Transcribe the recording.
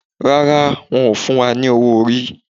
Rárá, won o fún wa ní owó orí